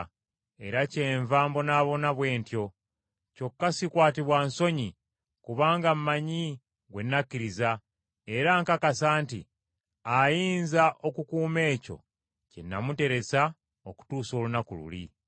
era kyenva mbonaabona bwe ntyo. Kyokka sikwatibwa nsonyi, kubanga mmanyi gwe nakkiriza, era nkakasa nti ayinza okukuuma ekyo kye namuteresa okutuusa olunaku luli.